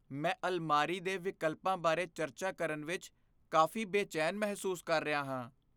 ਮੈਂ ਅਲਮਾਰੀ ਦੇ ਵਿਕਲਪਾਂ ਬਾਰੇ ਚਰਚਾ ਕਰਨ ਵਿੱਚ ਕਾਫ਼ੀ ਬੇਚੈਨ ਮਹਿਸੂਸ ਕਰ ਰਿਹਾ ਹਾਂ।